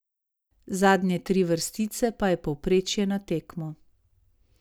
Zadnje tri vrstice pa je povprečje na tekmo.